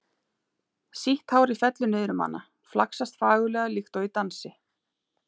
Sítt hárið fellur niður um hana, flaksast fagurlega líkt og í dansi.